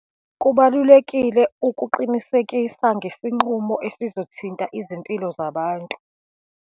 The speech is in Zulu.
Kubalulekile ukuqinisekisa ngesinqumo esizothinta izimpilo zabantu.